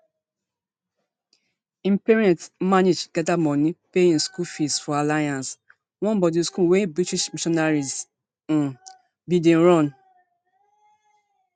im parents manage gada money pay im school fees for alliance one boarding school wey british missionaries um bin dey run